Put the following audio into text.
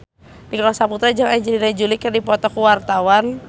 Nicholas Saputra jeung Angelina Jolie keur dipoto ku wartawan